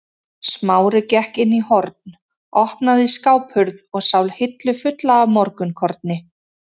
Smári gekk inn í horn, opnaði skáphurð og sá hillu fulla af morgunkorni.